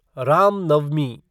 Ram Navami